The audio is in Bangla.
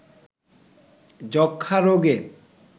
যক্ষ্মা রোগে